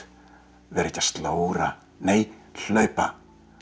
vera ekki að slóra nei hlaupa